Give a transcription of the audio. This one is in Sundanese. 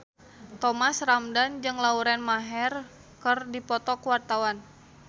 Thomas Ramdhan jeung Lauren Maher keur dipoto ku wartawan